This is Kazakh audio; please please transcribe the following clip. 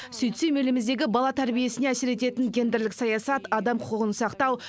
сөйтсем еліміздегі бала тәрбиесіне әсер ететін гендерлік саясат адам құқығын сақтау